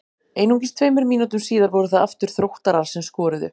Einungis tveimur mínútum síðar voru það aftur Þróttarar sem skoruðu.